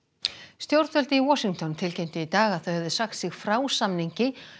stjórnvöld í Washington tilkynntu í dag að þau hefðu sagt sig frá samningi